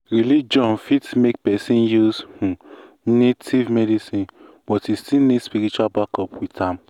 religion fit make person use um native um medicine but e still need spiritual backup with am.